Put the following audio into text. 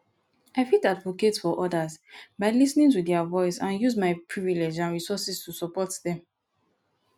i fit advocate for odas by lis ten ing to their voice and use my privilege and resources to support dem